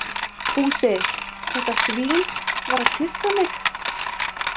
Fúsi, þetta svín, var að kyssa mig.